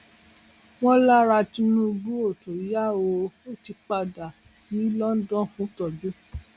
wọn lára tinubu ò tún yá o ò ti padà sí london fún ìtọjú